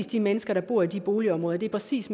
de mennesker der bor i de boligområder at det præcis